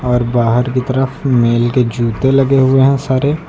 और बाहर की तरफ मेल के जूते लगे हुए हैं सारे।